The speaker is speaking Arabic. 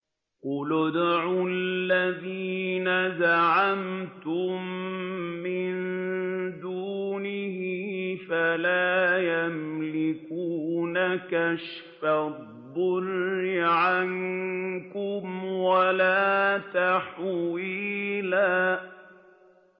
قُلِ ادْعُوا الَّذِينَ زَعَمْتُم مِّن دُونِهِ فَلَا يَمْلِكُونَ كَشْفَ الضُّرِّ عَنكُمْ وَلَا تَحْوِيلًا